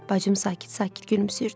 Bacım sakit-sakit gülümsəyirdi.